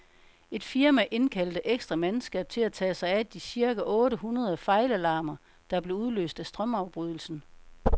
Et firma indkaldte ekstra mandskab til at tage sig af de cirka otte hundrede fejlalarmer, der blev udløst af strømafbrydelsen.